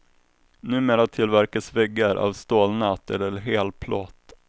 Numera tillverkas väggar av stålnät eller hel plåt.